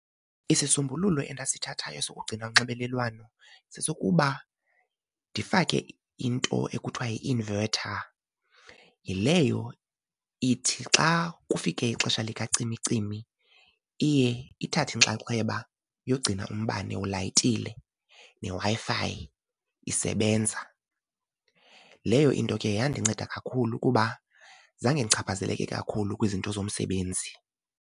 Isisombululo endasithathayo sokugcina unxibelelwano sesokuba ndifake into ekuthiwa yi-inverter. Yileyo ithi xa kufike ixesha likacimicimi iye ithathe inxaxheba yogcina umbane ulayitile neWi-Fi isebenza. Leyo into ke yandinceda kakhulu kuba zange ndichaphazeleke kakhulu kwizinto zomsebenzi.